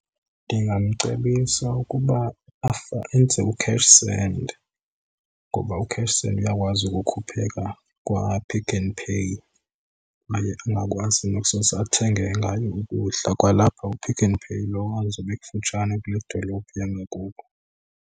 Ndingamcebisa ukuba enze u-cash send ngoba u-cash send uyakwazi ukukhupheka kwaPick n Pay kwaye angakwazi nokusose athenge ngayo ukudla kwalapha kuPick n Pay lowo azobe ekufutshane kule dolophu yangakubo.